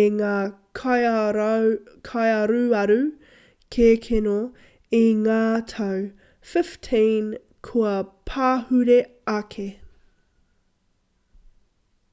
e ngā kaiaruaru kēkeno i ngā tau 15 kua pahure ake